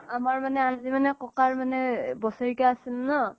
আমাৰ মানে আজিৰ মানে ককাৰ মানে বছৰিকীয়া আছিল ন